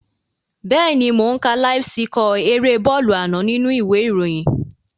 Bẹ́ẹ̀ni mò ó ń ka láíf síkọ̀ erée bọ́ọ̀lù àná nínú u ìwé ìròyìn